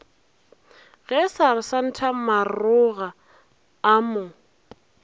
ge seresanta maroga a mo